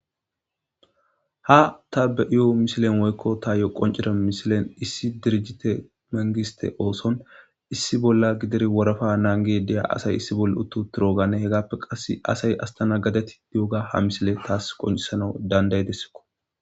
ha ta be7io misilen woykko ta yo qoncira mishilen issi dirijite mangiste ooson issi bolla gidir worafa naange deya asay issi bolle uttu turogane hegappe qass asay astana gadeti duoga ha misile taas qoncisana dandaydessiko